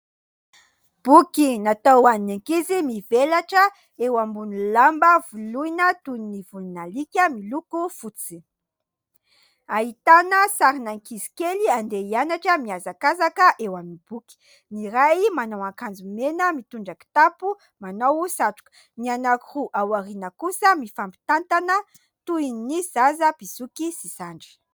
Boky natao ho an'ny ankizy . Mivelatra eo ambony lamba voloina toy ny volon'alika miloko fotsy . Ahitana sarin'ankizy kely andeha hianatra mihazakazaka eo amin'ny boky . Ny iray manao an-kanjo mena , mitondra kitapo , manao satroka ; ny anankiroa ao aoriana kosa mifampitantana toy ny zaza mpizoky sy zandry .